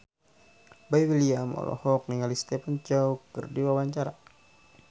Boy William olohok ningali Stephen Chow keur diwawancara